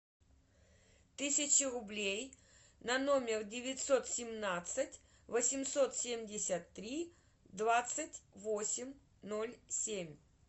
тысячу рублей на номер девятьсот семнадцать восемьсот семьдесят три двадцать восемь ноль семь